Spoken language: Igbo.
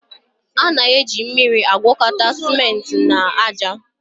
A na-eji mmiri agwakọta simenti na aja.